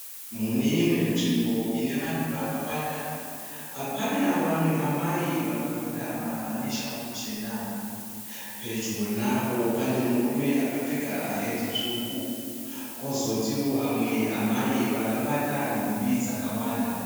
Muneimwe nzvimbo ine vanhu vakawanda pana vamwe amai vakakotama vane shangu chena, pedyo navo pane murume akapfeka heti tsvuku, kozotiwo vemwe amai vakabata nhumbi dzakawanda.